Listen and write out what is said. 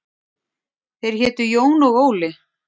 Þeir hétu Jón og Óli.